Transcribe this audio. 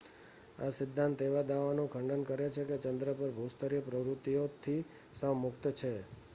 આ સિદ્ધાંત એ દાવાનું ખંડન કરે છે કે ચન્દ્ર પર ભૂસ્તરીય પ્રવૃત્તિઓથી સાવ મુક્ત છે